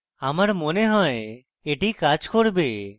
আমার মনে হয় এটি কাজ করবে